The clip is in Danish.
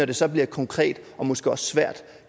det så bliver konkret og måske også svært